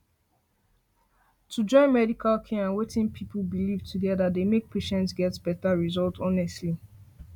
to join medical care and wetin people believe together dey make patients get better results honestly